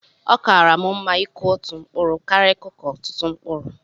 Ọ kaara m mma ịkụ otú mkpụrụ karịa ikụkọ ọtụtụ mkpụrụ